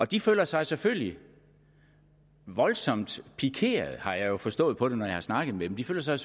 de føler sig selvfølgelig voldsomt pikeret har jeg jo forstået på dem når jeg har snakket med dem de føler sig